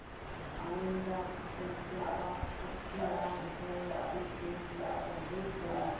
आइंदा पंचों का अख्तियार है जो फैसला चाहें करें